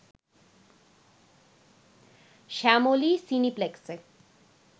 Shyamoli সিনেপ্লেক্সে